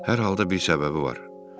Hər halda bir səbəbi var.